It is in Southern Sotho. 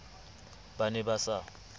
ba ne ba sa ba